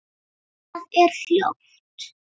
Það er hljótt.